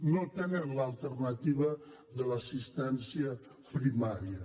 no tenen l’alternativa de l’assistència primària